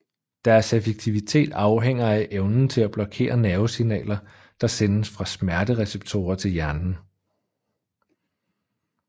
Deres effektivitet afhænger af evnen til at blokere nervesignaler der sendes fra smertereceptorer til hjernen